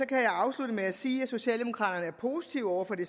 kan jeg afslutte med at sige at socialdemokraterne er positive over for det